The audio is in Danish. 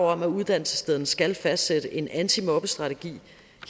at uddannelsesstederne skal fastsætte en antimobbestrategi